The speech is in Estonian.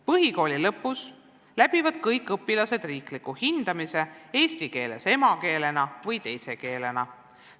Põhikooli lõpus läbivad kõik õpilased riikliku hindamise eesti keele õppeaines, kas emakeelena või teise keelena.